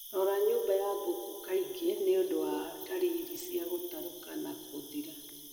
Rora nyũmba ya mbũkũ kaingĩ nĩũndũ wa dalili cia gũterũka na gũthira